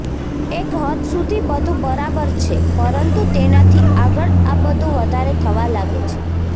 એક હદ સુધી બધુ બરાબર છે પરંતુ તેનાથી આગળ આ બધુ વધારે થવા લાગે છે